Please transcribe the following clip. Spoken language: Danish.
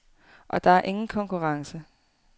Og der er ingen konkurrence.